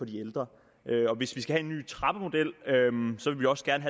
de ældre og hvis vi skal have en ny trappemodel vil vi også gerne